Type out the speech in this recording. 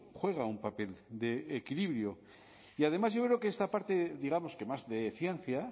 juega un papel de equilibrio y además yo creo que esta parte digamos que más de ciencia